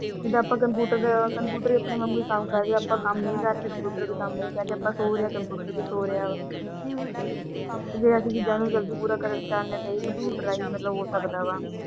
ਜਿਦਾ ਅੱਪਾ ਕੰਪਿਊਟਰ ਦੇਆਹ ਕੰਪਿਊਟਰ ਆਪਣੇ ਵਾੰਗੂ ਕੰਮ ਕਰ ਰਿਹਾ ਜੇ ਅੱਪਾ ਕੰਮ ਨਹੀਂ ਕਰ ਰਹੇ ਕੰਪਿਊਟਰ ਵੀ ਕੰਮ ਨਹੀਂ ਕਰ ਰਿਹਾ ਜੇ ਅੱਪਾ ਸੌ ਰਹੇ ਕੰਪਿਊਟਰ ਵੀ ਸੌ ਰਿਹਾ ਤੇ ਜੇ ਅੱਸੀ ਚੀਜ਼ ਨੂੰ ਜਲਦੀ ਪੂਰਾ ਕਰਨ ਚੌਂਦੇ ਹੋ ਤੇ ਇਹ ਕੰਪਿਊਟਰ ਹੀ ਮਤਲਬ ਹੋ ਸਕਦਾ ਵਾ।